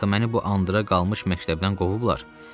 Axı məni bu andıra qalmış məktəbdən qovublar.